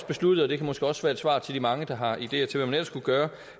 besluttet og det kan måske også være et svar til de mange der har ideer til hvad man ellers kunne gøre